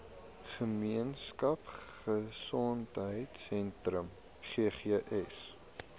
gemeenskap gesondheidsentrum ggs